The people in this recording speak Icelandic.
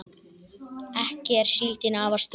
ekki er síldin afar stygg